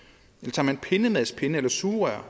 tager man pindemadspinde eller sugerør